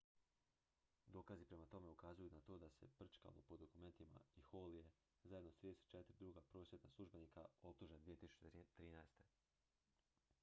dokazi prema tome ukazuju na to da se prčkalo po dokumentima i hall je zajedno s 34 druga prosvjetna službenika optužen 2013